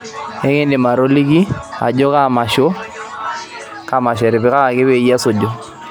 ekidim atolitiki ajo kaa masho etipikaki peyie esuju